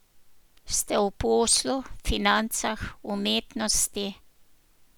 Ste v poslu, financah, umetnosti ...